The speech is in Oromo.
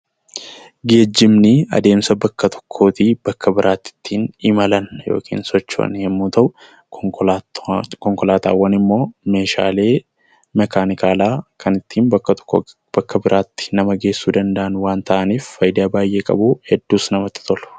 Geejibni adeemsa bakka tokko irraa gara bakka biraatti ittiin imalan yookaan socho'an yemmuu ta'u, konkolaataawwan immoo Meeshaalee makaanikaalaa kan ittiin bakka tokkoo bakka biraatti nama geessuu danda'an waan ta'aniif fayidaa baayyee qabuu, hedduus namatti tolu.